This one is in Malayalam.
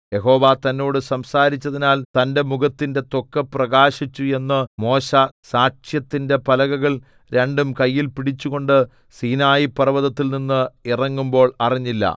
യഹോവ തന്നോട് സംസാരിച്ചതിനാൽ തന്റെ മുഖത്തിന്റെ ത്വക്ക് പ്രകാശിച്ചു എന്ന് മോശെ സാക്ഷ്യത്തിന്റെ പലകകൾ രണ്ടും കയ്യിൽ പടിച്ചുകൊണ്ട് സീനായിപർവ്വതത്തിൽനിന്ന് ഇറങ്ങുമ്പോൾ അറിഞ്ഞില്ല